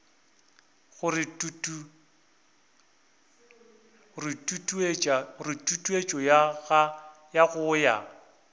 gore tutuetšo ya go ya